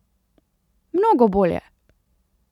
Mnogo bolje!